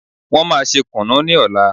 Wọ́n máa ṣe kùnú ní ọ̀la.